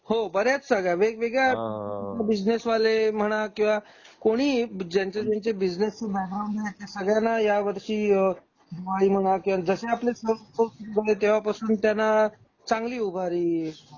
हो बऱ्या आहेत सगळ्या वेग वेगळ्या बिझनेस वाले म्हणा किंवा कोणी ही ज्यांचे ज्यांचे बिझनेस बॅकग्राऊंड आहेत त्या सगळ्यांना या वर्षी अहं दिवाळी म्हणा किंवा जसे आपले सण उत्सव झाले तेव्हापासून त्यांना चांगली उभारी लागली.